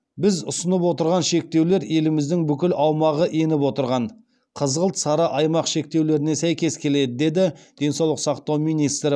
біз ұсынып отырған шектеулер еліміздің бүкіл аумағы еніп отырған қызғылт сары аймақ шектеулеріне сәйкес келеді деді денсаулық сақтау министрі